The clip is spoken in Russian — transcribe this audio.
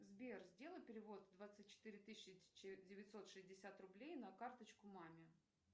сбер сделай перевод двадцать четыре тысячи девятьсот шестьдесят рублей на карточку маме